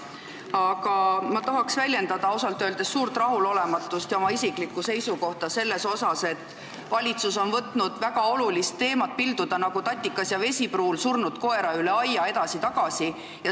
Aga ma tahaks ausalt öeldes väljendada suurt rahulolematust ja oma isiklikku seisukohta selles suhtes, et valitsus on võtnud väga olulist teemat pilduda, nagu Tatikas ja Vesipruul pildusid surnud koera üle aia edasi-tagasi.